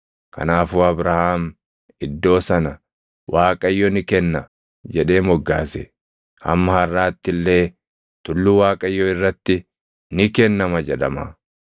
Kanaafuu Abrahaam iddoo sana “ Waaqayyo ni kenna” jedhee moggaase; hamma harʼaatti illee, “Tulluu Waaqayyoo irratti, ni kennama” jedhama.